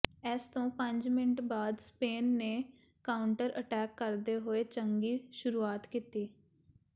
ਇਸ ਤੋਂ ਪੰਜ ਮਿੰਟ ਬਾਅਦ ਸਪੇਨ ਨੇ ਕਾਊਂਟਰ ਅਟੈਕ ਕਰਦੇ ਹੋਏ ਚੰਗੀ ਸ਼ੁਰੂਆਤ ਕੀਤੀ